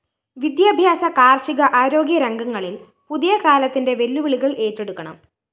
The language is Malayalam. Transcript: വിദ്യാഭ്യാസ കാര്‍ഷിക ആരോഗ്യരംഗങ്ങളില്‍ പുതിയ കാലത്തിന്റെ വെല്ലുവിളികള്‍ ഏറ്റെടുക്കണം